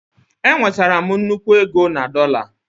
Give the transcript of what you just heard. Enwetara m nnukwu ego na dollar